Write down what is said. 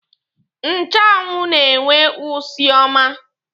Nchụanwụ na-enwe usi ọma.